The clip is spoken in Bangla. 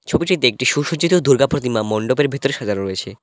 ছবিটিতে একটি সুসজ্জিত দুর্গা প্রতিমা মণ্ডপের ভিতরে সাজানো রয়েছে।